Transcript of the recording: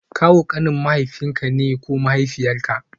Kawu kanin mahaifinka ne ko mahaifiyarka